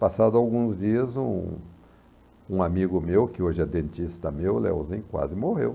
Passados alguns dias, um um amigo meu, que hoje é dentista meu, o Leozin, quase morreu.